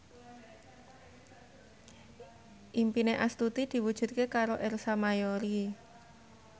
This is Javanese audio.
impine Astuti diwujudke karo Ersa Mayori